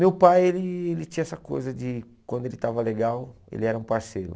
Meu pai ele ele tinha essa coisa de, quando ele estava legal, ele era um parceiro.